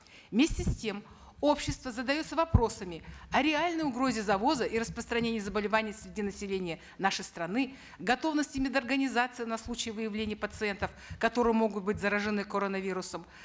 вместе с тем общество задается вопросами о реальной угрозе завоза и распространения заболеваний среди населения нашей страны готовности мед организаций на случай выявления пациентов которые могут быть заражены коронавирусом